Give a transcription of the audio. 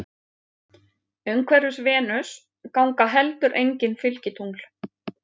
Umhverfis Venus ganga heldur engin fylgitungl.